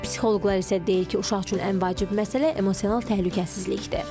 Psixoloqlar isə deyir ki, uşaq üçün ən vacib məsələ emosional təhlükəsizlikdir.